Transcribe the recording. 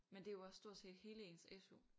Men det er jo også stort set hele ens SU